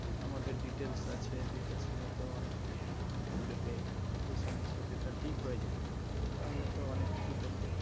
আমাদের details আছে details নিয়ে তো অনেক কিছু যদি এই সমস্ত delta লিক হয়ে যাই তাহলে তো অনেক কিছু করতে পারেন